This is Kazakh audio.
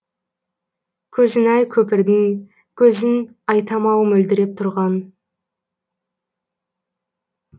көзін ай көпірдің көзін айтам ау мөлдіреп тұрған